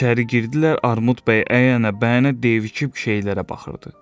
İçəri girdilər, Armud bəy əyənə-bəyənə deyib-fikirləşib şeylərə baxırdı.